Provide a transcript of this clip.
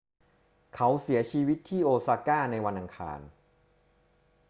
เขาเสียชีวิตที่โอซาก้าในวันอังคาร